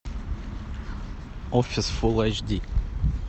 офис фулл айч ди